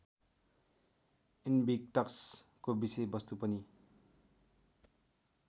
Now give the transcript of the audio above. इन्भिक्टसको विषयवस्तु पनि